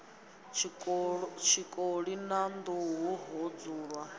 tshikoli na nḓuhu ho dzulwa